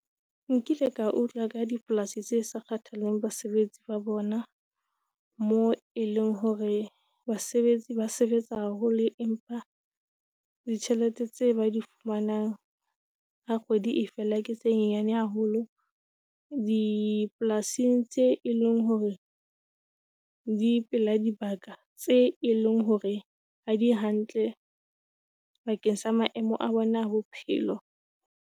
Nkile ka utlwa ka dipolasi tse sa kgathalleng basebetsi ba bona, moo e leng hore basebetsi ba sebetsa haholo, empa ditjhelete tse ba di fumanang ha kgwedi e fela ke tse nyane haholo dipolasing tseo e leng hore di pela dibaka tse e leng hore ha di hantle bakeng sa maemo a bona a bophelo.